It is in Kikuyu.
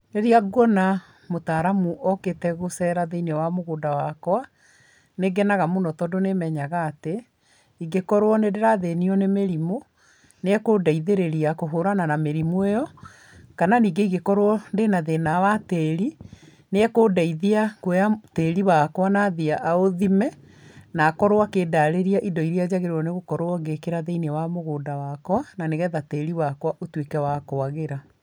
Rĩrĩa nguona mũtaaramu okĩte gũcera thĩiniĩ wa mũgũnda wakwa, nĩ ngenaga mũno tongũ nĩmenyaga atĩ, ingĩkorwo nĩ ndĩrathĩnio nĩ mĩrimũ, nĩ akũndeithia kũhũrana na mĩrimũ ĩo, kana nyingĩ ingĩkorwo ndĩna thĩĩna wa tĩri, nĩ ekũndeithia kwoya tĩĩri wakwa na athiĩ aũthime , na akorwo akĩndarĩria indo iria njagĩrĩirwo gũkorwo ngĩkĩra thĩiniĩ wa mũgũnda wakwa na nĩgetha tĩri wakwa ũtuĩke wakwagĩra.